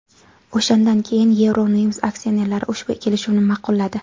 O‘shandan keyin Euronews aksionerlari ushbu kelishuvni ma’qulladi.